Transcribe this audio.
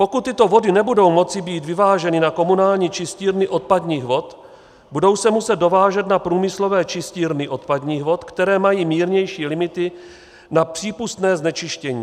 Pokud tyto vody nebudou moci být vyváženy na komunální čistírny odpadních vod, budou se muset dovážet na průmyslové čistírny odpadních vod, které mají mírnější limity na přípustné znečištění.